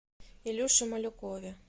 илюше малюкове